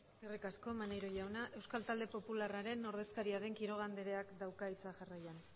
eskerrik asko maneiro jauna euskal talde popularraren ordezkaria den quiroga andreak dauka hitza jarrian